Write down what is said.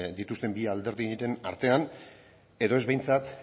dituzten bi alderdi biren artean edo ez behintzat